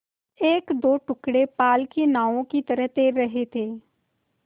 एकदो टुकड़े पाल की नावों की तरह तैर रहे थे